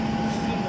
Üstün var.